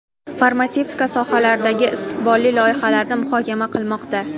farmatsevtika sohalaridagi istiqbolli loyihalarni muhokama qilmoqda.